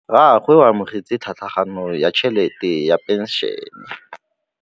Rragwe o amogetse tlhatlhaganyô ya tšhelête ya phenšene.